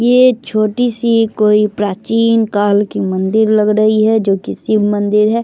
ये छोटी-सी कोई प्राचीन काल की मंदिर लग रही हैजो कि शिव मंदिर है।